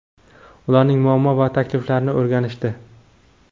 ularning muammo va takliflarini o‘rganishdi.